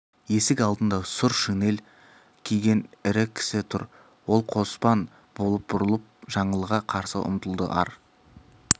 есік алдында сұр шинель киген ірі кісі тұр ол қоспан болып бұрылып жаңылға қарсы ұмтылды ар